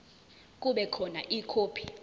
kube khona ikhophi